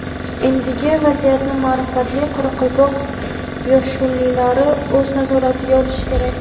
Endigi vaziyatni maʼrifatli qoraqalpoq yoshullilari o‘z nazoratiga olishi kerak.